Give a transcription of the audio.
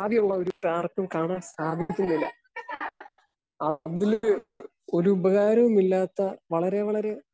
ആകെയുള്ളൊരു spark കാണാൻ സാധിപ്പിക്കുന്നില്ല. ആ രണ്ടിലും ഒരു ഉപകാരവുമില്ലാത്ത വളരെ വളരെ ഏഹ്